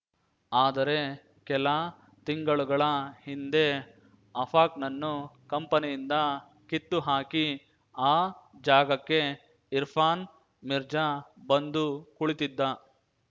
ಆದರೆ ಕೆಲ ತಿಂಗಳುಗಳ ಹಿಂದೆ ಅಫಾಕ್‌ನನ್ನು ಕಂಪನಿಯಿಂದ ಕಿತ್ತು ಹಾಕಿ ಆ ಜಾಗಕ್ಕೆ ಇರ್ಫಾನ್‌ ಮಿರ್ಜಾ ಬಂದು ಕುಳಿತಿದ್ದ